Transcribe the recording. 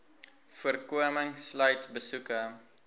voorkoming sluit besoeke